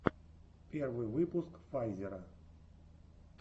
первый выпуск файзера